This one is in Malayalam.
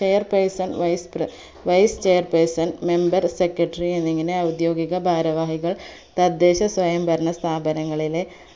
chair person wise pre wise chair person member secretary എന്നിങ്ങനെ ഔദ്യോകിക ഭാരവാഹികൾ തദ്ദേശ സ്വയംഭരണ സ്ഥാപങ്ങളിലെ